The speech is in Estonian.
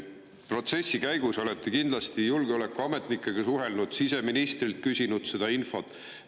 Protsessi käigus olete kindlasti julgeolekuametnikega suhelnud, küsinud siseministrilt seda infot.